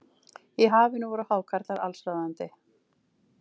Í hafinu voru hákarlar allsráðandi.